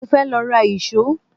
Mo fẹ́ lọ ra ìṣó